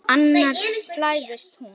Annars slævist hún.